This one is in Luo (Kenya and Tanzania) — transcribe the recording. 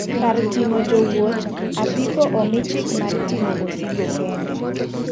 Kar ting'o jowuoth, apiko omi chik mar ting'o osigo kende.